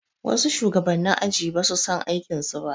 Wasu shugabanni aji basu san aikin su ba